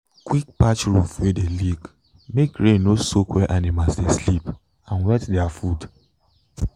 quick patch roof wey dey leak make rain no soak where animal dey sleep and wet their food.